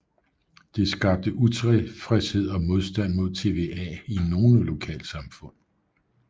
Det skabte utilfredshed og modstand mod TVA i nogle lokalsamfund